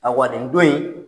Aw bin don in